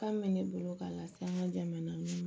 Kan bɛ ne bolo k'a lase an ka jamana ma